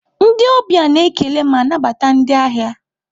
Ndị ọbịa na-ekele ma nabata ndị ahịa.